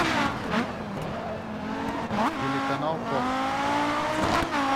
телеканал фокс